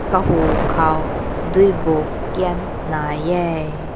kahü kaw deiu buk kein na hae.